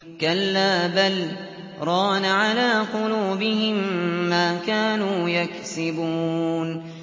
كَلَّا ۖ بَلْ ۜ رَانَ عَلَىٰ قُلُوبِهِم مَّا كَانُوا يَكْسِبُونَ